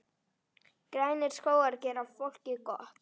Grænir skógar gera fólki gott.